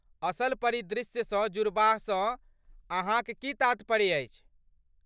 असल परिदृश्यसँ जुड़बासँ अहाँक की तात्पर्य अछि?